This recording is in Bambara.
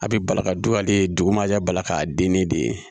A bɛ bala ka don ale dugu ma jaa bala ka den ne de ye